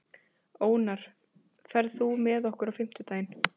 Ónarr, ferð þú með okkur á fimmtudaginn?